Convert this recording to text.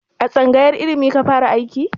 A tsangayar ilimi ka fara aiki?